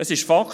Es ist Fakt: